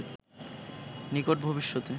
নিকট ভবিষ্যতে